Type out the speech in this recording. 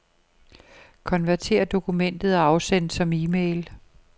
Konvertér dokumentet og afsend som e-mail.